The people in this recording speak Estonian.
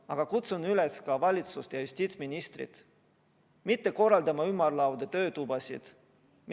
Aga kutsun üles ka valitsust ja justiitsministrit mitte korraldama ümarlaudu, töötubasid.